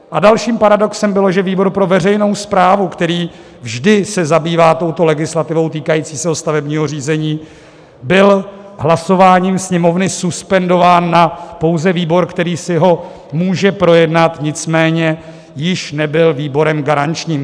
A dalším paradoxem bylo, že výbor pro veřejnou správu, který vždy se zabývá touto legislativou týkajícího se stavebního řízení, byl hlasováním Sněmovny suspendován na pouze výbor, který si ho může projednat, nicméně již nebyl výborem garančním.